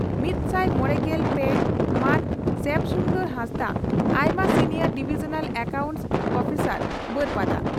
ᱢᱤᱛᱥᱟᱭ ᱢᱚᱲᱮᱜᱮᱞ ᱯᱮ ᱢᱟᱱ ᱥᱭᱟᱢ ᱥᱩᱱᱫᱚᱨ ᱦᱟᱸᱥᱫᱟᱜ, ᱟᱭᱢᱟ ᱥᱤᱱᱤᱭᱚᱨ ᱰᱤᱵᱷᱤᱡᱚᱱᱟᱞ ᱮᱠᱟᱣᱩᱱᱴᱥ ᱩᱯᱤᱥᱟᱨ, ᱵᱟᱹᱨᱯᱟᱫᱟ ᱾